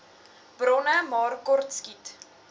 bronne maar kortskiet